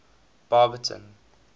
barberton